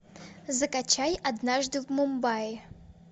закачай однажды в мумбаи